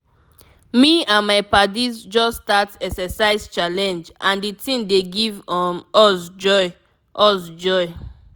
me and my paddies just start exercise challenge and the thing dey give um us joy. us joy.